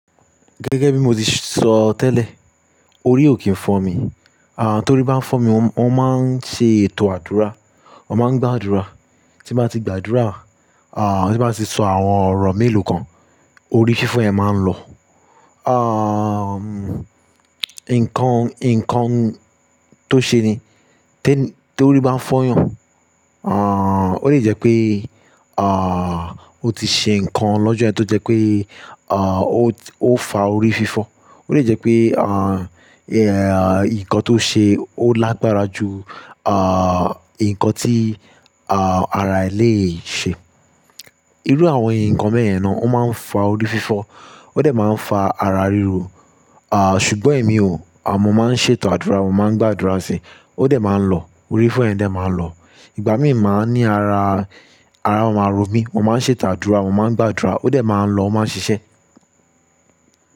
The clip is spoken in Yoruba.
Gẹ́gẹ́ bí mo ti sọ tẹ́lẹ̀, orí òki ń fọ́ mi. À, torí bá ń fọ́ mi, mo máa ń ṣe ètò àdúrà, mo máa ń gbàdúrà. Tí mo bá ti gbàdúrà, à, tí mo bá ti sọ àwọn ọ̀rọ̀ mélòó kan, orí fífọ́ yẹn máa ń lọ. À, nǹkan, nǹkan tó ṣe ni, tí torí bá ń fọ́ yàn, ó le jẹ́ pé, o ti ṣe nǹkan lọ́jọ́ yẹn tó jẹ́ pé, ó fa orí fífọ́. Ó lè jẹ́ pé, nǹkan tó ṣe ó lágbára ju, nǹkan tí, ara e le ṣe. Irú àwọn nǹkan beyen náà ó máa ń fa orí fífọ́, ó dẹ̀ máa ń fa ara ríro. À, ṣùgbọ́n èmi ò, mo máa ń ṣe ètò àdúrà, mo máa ń gbàdúrà sí i, ó dẹ̀ máa ń lọ, orí fífọ́ yẹn dẹ̀ máa ń lọ. Ìgbà mí máa ní ara, ara máa rọ mí, mo máa ń ṣe ètò àdúrà, mo máa ń gbàdúrà, ó dẹ̀ máa ń lọ, ó máa ń ṣiṣẹ́.